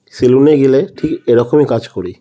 Salon -এ গেলে ঠিক এরকমই কাজ করি।